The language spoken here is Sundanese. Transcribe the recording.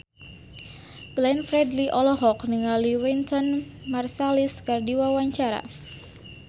Glenn Fredly olohok ningali Wynton Marsalis keur diwawancara